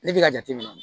Ne bɛ ka jate minɛ